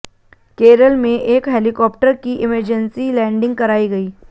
केरल में एक हेलिकॉप्टर की इमेंजेंसी लैंडिंग कराई गई